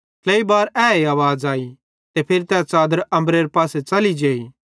ट्लेई बार ए आवाज़ आई ते फिरी तै च़ादर अम्बरेरे पासे च़ली जेई